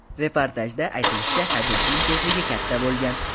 Reportajda aytilishicha, haydovchining tezligi katta bo‘lgan.